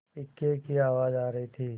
इक्के की आवाज आ रही थी